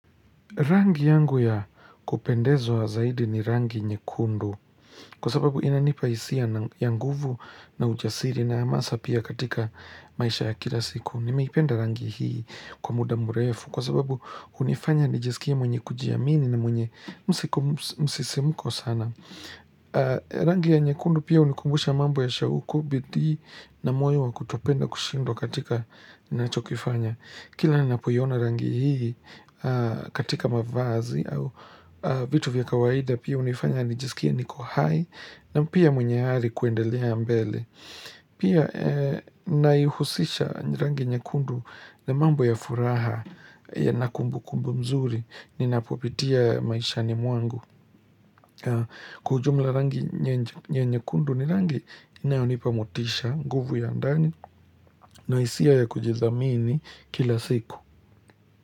Rangi yangu ya kupendezwa zaidi ni rangi nyekundu kwa sababu inanipa hisia ya nguvu na ujasiri na amasa pia katika maisha ya kila siku. Nimeipenda rangi hii kwa muda mrefu kwa sababu hunifanya nijisikie mwenye kujiamini na mwenye msisimuko sana. Rangi ya nyekundu pia hunikumbusha mambu ya shauku, bidii na moyo wa kutopenda kushindwa katika ninachokifanya. Kila ninapoiona rangi hii katika mavazi au vitu vya kawaida pia hunifanya nijisikie niko hai na pia mwenye ari kuendelea mbele. Pia naihusisha rangi nyakundu na mambo ya furaha yana kumbukumbu nzuri ninapopitia maishani mwangu. Kwa ujumla rangi nyekundu ni rangi inayonipa motisha, nguvu ya ndani na hisia ya kujidhamini kila siku.